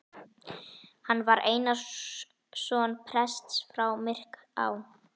Hann var Einarsson prests frá Myrká.